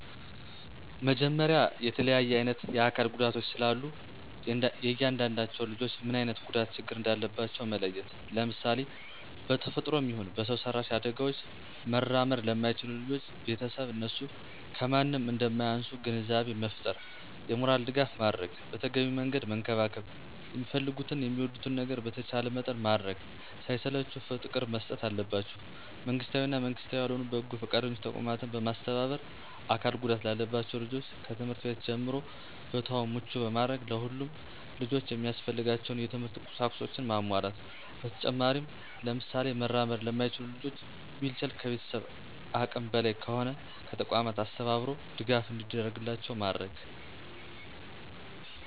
መጀመሪያ የተለያየ አይነት የአካል ጉዳቶች ስላሉ የእያንዳዳቸውን ልጆች ምን አይነት ጉዳት ችግር እንዳለባቸው መለየት፣ ለምሳሌ:- በተፈጥሮም ይሁን በሰው ሰራሽ አዳጋውች መራመድ ለማይችሉ ልጆች ቤተሰብ እነሱ ከማንም እንደማያንሱ ግንዛቤ መፍጠር የሞራል ድጋፍ ማድረግ በተገቢው መንገድ መንከባከብ የሚፈልጉትን የሚወዱትን ነገር በተቻለ መጠን ማድረግ ሳይሰለቹ ፍቅር መስጠት አለባቸው። መንግስታዊ እና መንግስታዊ ያልሆኑ በጎ ፈቃደኛ ተቋማትን በማስተባበር አካል ጉዳት ላለባቸው ልጆች ከትምህርት ቤት ጀምሮ ቦታውን ምቹ ማድረግ ለሁሉም ልጆች የሚያስፈልጋቸውን የት/ት ቁሳቁሶችን ማሟላት። በተጨማሪም ለምሳሌ መራመድ ለማይችሉ ልጆች ዊልቸር ከቤተሰብ አቅም በላይ ከሆነ ከተቋማት አስተባብሮ ድጋፍ እንዲደረግላቸው ማድረግ።